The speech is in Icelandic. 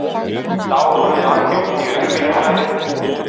Þá horfði hann djúpt í augu mín og sagði